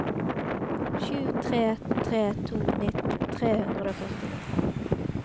sju tre tre to nitten tre hundre og førtini